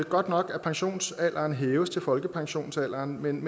godt nok at pensionsalderen hæves til folkepensionsalderen men